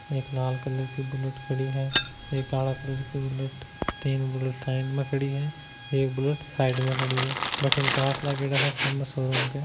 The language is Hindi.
एक लाल कलर की बुलेट खड़ी है एक काला कलर की बुलेट खड़ी है तीन साइड में खड़ी है एक बुलेट साइड में खड़ी है उसमे काच भि लगा हुआ साम शोरूम का--